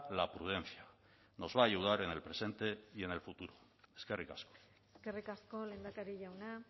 la prudencia nos va a ayudar en el presente y en el futuro eskerrik asko eskerrik asko lehendakari jauna